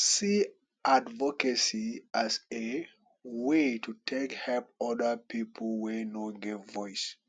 see advocacy as a way to take help oda pipo wey no get voice